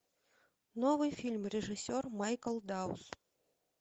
новый фильм режиссер майкл даус